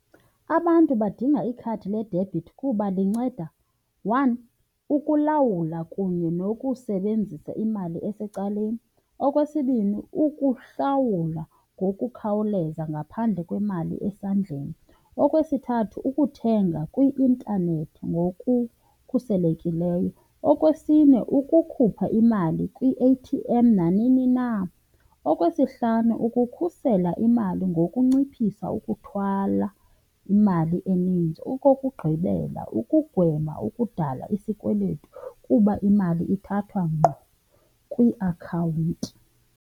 Abantu badinga ikhadi ledebhithi kuba linceda, one, ukulawula kunye nokusebenzisa imali esecaleni. Okwesibini, ukuhlawula ngokukhawuleza ngaphandle kwemali esandleni. Okwesithathu, ukuthenga kwi-intanethi ngokukhuselekileyo. Okwesine, ukukhupha imali kwi-A_T_M nanini na. Okwesihlanu, ukukhusela imali ngokunciphisa ukuthwala imali eninzi. Okokugqibela, ukugwema ukudala isikweletu kuba imali ithathwa ngqo kwiakhawunti.